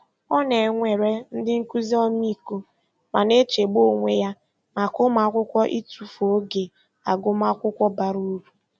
Ọ na-enwere ndị nkụzi ọmịiko ma na-echegbu onwe ya maka ụmụakwụkwọ ịtụfụ oge agụmakwụkwọ bara uru.